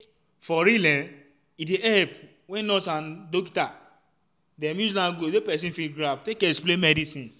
for real eh e dey epp wen nurse and um dokita dem use lanugauge wey pesin fit grab take explain medicine.